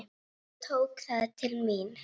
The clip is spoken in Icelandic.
Ég tók það til mín.